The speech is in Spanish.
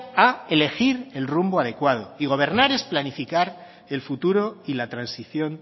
a elegir el rumbo adecuado y gobernar es planificar el futuro y la transición